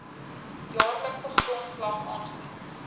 jaarlikse grondslag aangebied